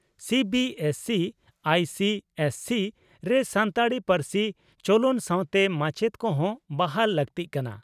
CBSE ICSE ᱨᱮ ᱥᱟᱱᱛᱟᱲᱤ ᱯᱟᱹᱨᱥᱤ ᱪᱚᱚᱞᱚᱱ ᱥᱟᱣᱛᱮ ᱢᱟᱪᱮᱛ ᱠᱚᱦᱚᱸ ᱵᱟᱦᱟᱞ ᱞᱟᱹᱠᱛᱤᱜ ᱠᱟᱱᱟ ᱾